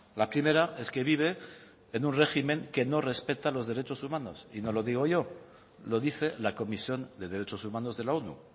la primera es que vive en un régimen que no respeta los derechos humanos y no lo digo yo lo dice la comisión de derechos humanos de la onu